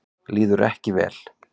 Líður ekki vel.